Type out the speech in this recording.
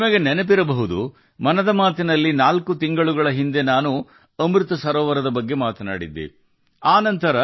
ನಾಲ್ಕು ತಿಂಗಳ ಹಿಂದೆ ಮನ್ ಕಿ ಬಾತ್ನಲ್ಲಿ ಅಮೃತ ಸರೋವರದ ಬಗ್ಗೆ ಹೇಳಿದ್ದೆ ನಿಮಗೆ ನೆನಪಿರಬಹುದು